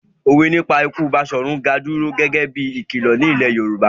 Òwe nípa ikú Baṣọ̀run Gáà dúró gẹ́gẹ́ bí i ìkìlọ̀ nílẹ̀ Yorùbá.